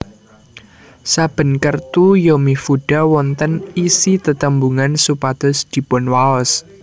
Saben kertu yomifuda wonten isi tetembungan supados dipunwaos